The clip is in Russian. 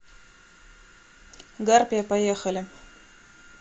гарпия поехали